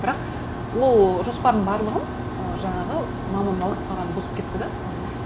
бірақ ол жоспардың барлығын ы жаңағы мамамның ауырып қалғаны бұзып кетті де мхм